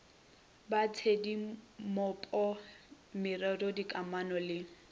ba tshedimopo merero dikamano le